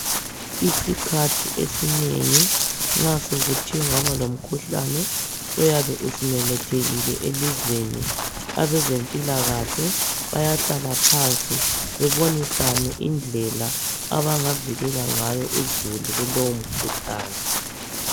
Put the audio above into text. Isikhathi esinengi nxa sokuthe kwaba lomkhuhlane oyabe usumemethekile elizweni, abezempilakahle bayahlala phansi babonisane indlela abangavikela ngayo uzulu kulowo mkhuhlane.